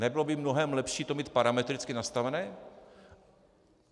Nebylo by mnohem lepší to mít parametricky nastavené?